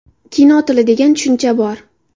Kino tili degan tushuncha bor.